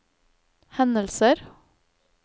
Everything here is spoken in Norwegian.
hendelser